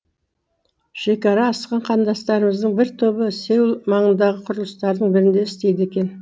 шекара асқан қандастарымыздың бір тобы сеул маңындағы құрылыстардың бірінде істейді екен